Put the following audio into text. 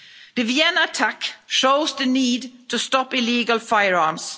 The Vienna attack shows the need to stop illegal firearms.